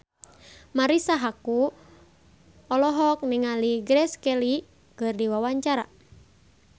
Marisa Haque olohok ningali Grace Kelly keur diwawancara